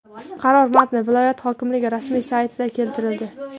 Qaror matni viloyat hokimligi rasmiy saytida keltirildi .